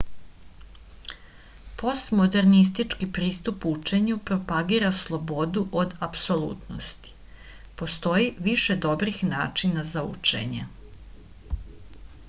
postmodernistički pristup učenju propagira slobodu od apsolutnosti postoji više dobrih načina za učenje